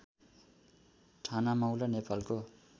ठानामौला नेपालको